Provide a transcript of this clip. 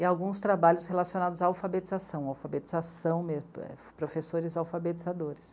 E alguns trabalhos relacionados à alfabetização, professores alfabetizadores.